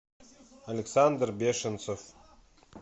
александр бешенцев